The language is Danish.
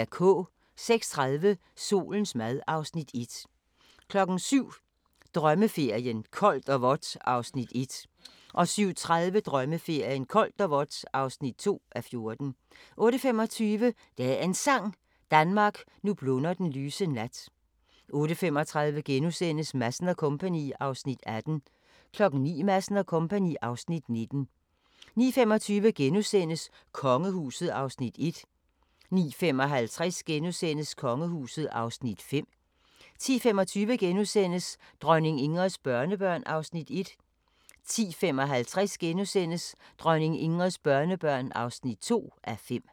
06:30: Solens mad (Afs. 1) 07:00: Drømmeferien: Koldt og vådt (1:14) 07:30: Drømmeferien: Koldt og vådt (2:14) 08:25: Dagens Sang: Danmark, nu blunder den lyse nat 08:35: Madsen & Co. (Afs. 18)* 09:00: Madsen & Co. (Afs. 19) 09:25: Kongehuset (Afs. 4)* 09:55: Kongehuset (Afs. 5)* 10:25: Dronning Ingrids børnebørn (1:5)* 10:55: Dronning Ingrids børnebørn (2:5)*